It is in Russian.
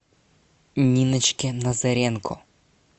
ниночке назаренко